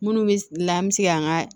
Munnu be la an be se ka an ga